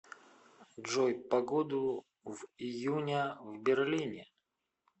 джой погоду в июня в берлине